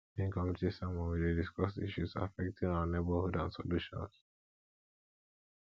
during community sermons we dey discuss issues affecting our neighborhood and solutions